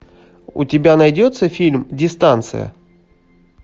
у тебя найдется фильм дистанция